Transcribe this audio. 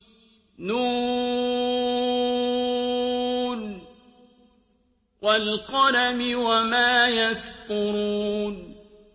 ن ۚ وَالْقَلَمِ وَمَا يَسْطُرُونَ